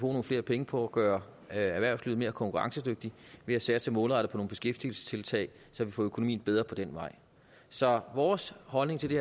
nogle flere penge på at gøre erhvervslivet mere konkurrencedygtigt ved at satse målrettet på nogle beskæftigelsestiltag så vi får økonomien bedre ad den vej så vores holdning til det